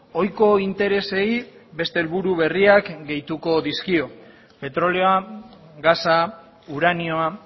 ohiko interesei beste helburu berriak gehitu dizkio petrolioa gasa uranioa